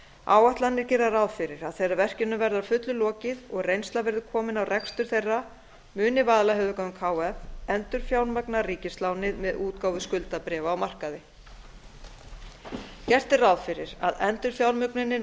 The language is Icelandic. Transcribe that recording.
áætlanir gera ráð fyrir að þegar verkinu verði að fullu lokið og reynsla verður komin á rekstur þeirra muni vaðlaheiðargöng h f endurfjármagna ríkislánið með útgáfu skuldabréfa á markaði gert er ráð fyrir að endurfjármögnunin